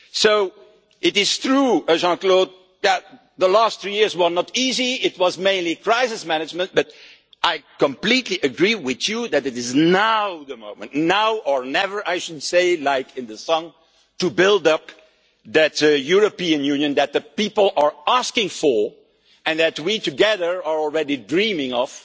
So it is true, Jean Claude, that the last three years were not easy, it was mainly crisis management, but I completely agree with you that now is the moment now or never I should say, as in the song to build up the European Union that the people are asking for and that we together have already been dreaming